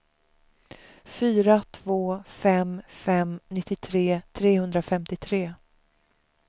fyra två fem fem nittiotre trehundrafemtiotre